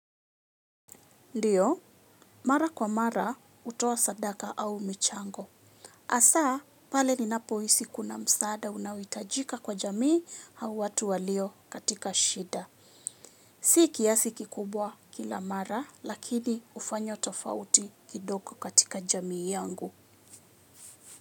Ndiyo, mara kwa mara hutoa sadaka au michango. Hasa pale ninapohisi kuna msaada unaohitajika kwa jamii au watu walio katika shida. Si kiasi kikubwa kila mara, lakini hufanya tofauti kidogo katika jamii yangu.